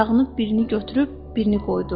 Ayağını birini götürüb, birini qoydu.